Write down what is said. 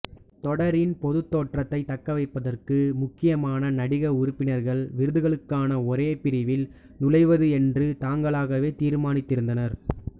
தொடரின் பொதுத்தோற்றத்தை தக்கவைப்பதற்கு முக்கியமான நடிக உறுப்பினர்கள் விருதுகளுக்கான ஒரே பிரிவில் நுழைவது என்று தாங்களாவே தீர்மானித்திருந்தனர்